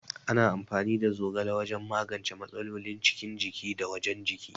Ana amfani da zogala wajan magance matsalolin cikin jiki da wajan jiki